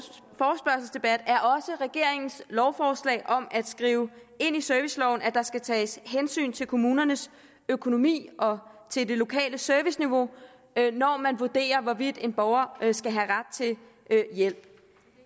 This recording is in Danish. regeringens lovforslag om at skrive ind i serviceloven at der skal tages hensyn til kommunernes økonomi og til det lokale serviceniveau når man vurderer hvorvidt en borger skal have ret til hjælp